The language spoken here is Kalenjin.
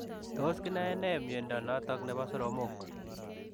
Tos kinae nee miondoo notok neboo soromok ?